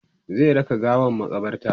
zai raka gawan makabarta